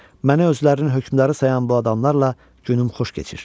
Mənə özlərinin hökmdarı sayan bu adamlarla günüm xoş keçir.